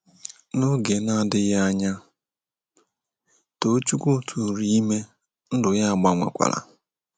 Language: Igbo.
N'oge na - adịghị anya, Tochukwu tụụrụ ime — ndụ ya gbanwekwara.